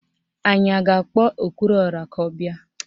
Anyị a ga-akpọ okwuruọra ka ọ bịa?